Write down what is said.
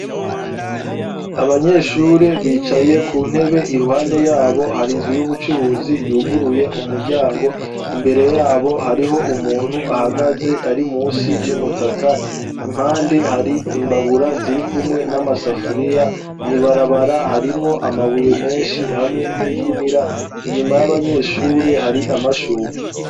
Abanyeshure bicaye ku ntebe iruhande yabo hari inzu y'ubucuruzi yuguruye umuryango imbere yabo hariho umuntu ahagaze ari munsi y'umutaka impande hari imbabura ziri kumwe n'amasafuriya mwibarabara harimwo amabuye menshi hamwe n'igunira inyuma y'abanyeshuri hari amashugwe.